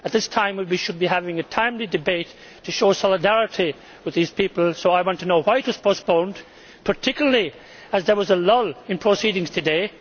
At this time we should be having a timely debate to show solidarity with these people, so I want to know why it was postponed, particularly as there was a lull in proceedings today